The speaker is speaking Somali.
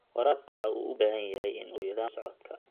Waraabka waxa uu u baahan yahay in uu yeesho nidaam la socodka.